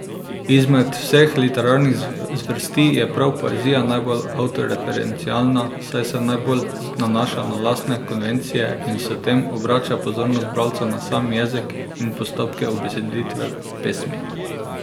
Izmed vseh literarnih zvrsti je prav poezija najbolj avtoreferencialna, saj se najbolj nanaša na lastne konvencije in s tem obrača pozornost bralca na sam jezik in postopke ubeseditve pesmi.